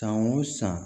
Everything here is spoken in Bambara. San o san